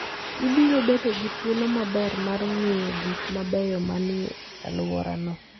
Ibiro bedo gi thuolo maber mar ng'iyo gik mabeyo ma ni e alworano.